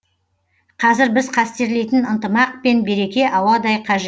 қазір біз қастерлейтін ынтымақ пен береке ауадай қажет